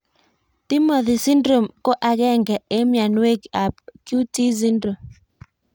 Timothy Syndrome ko agéngé eng' mionwog''k ab QT syndrome